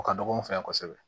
O ka dɔgɔ an fɛ yan kosɛbɛ